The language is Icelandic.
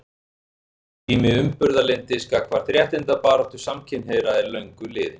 Tími umburðarlyndis gagnvart réttindabaráttu samkynhneigðra er löngu liðinn.